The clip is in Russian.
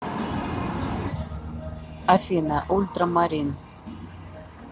афина ультрамарин